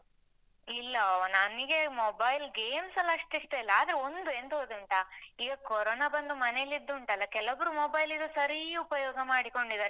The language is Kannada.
ಇಲ್ಲವ ನನ್ಗೆ mobile games ಅಲ್ಲಿ ಅಷ್ಟು ಇಷ್ಟ ಇಲ್ಲ. ಆದ್ರೆ ಒಂದು, ಎಂತ ಗೊತ್ತುಂಟ? ಈಗ ಕೊರೊನ ಬಂದು ಮನೆಯಲ್ಲಿದ್ದುಂಟಲ್ಲ, ಕೆಲವ್ರು mobile ಈಗ ಸರೀ ಉಪಯೋಗ ಮಾಡಿಕೊಂಡಿದ್ದಾರೆ.